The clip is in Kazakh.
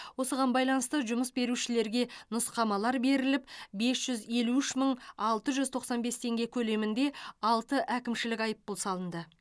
осыған байланысты жұмыс берушілерге нұсқамалар беріліп бес жүз елу үш мың алты жүз тоқсан бес теңге көлемінде алты әкімшілік айыппұл салынды